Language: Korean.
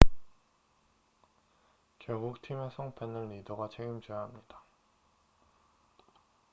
결국 팀의 성패는 리더가 책임져야 합니다